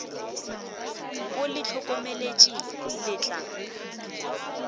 o le hlokomele le tla